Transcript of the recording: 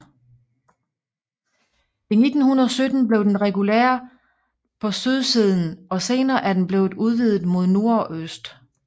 I 1917 blev den reguleret på sydsiden og senere er den blevet udvidet mod nord og øst